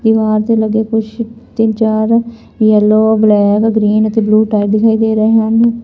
ਦੀਵਾਰ ਤੇ ਲੱਗੇ ਕੁਛ ਤਿੰਨ ਚਾਰ ਯੈਲੋ ਬਲੈਕ ਗ੍ਰੀਨ ਅਤੇ ਬਲੂ ਟੈਡੀ ਦਿਖਾਈ ਦੇ ਰਹੇ ਹਨ।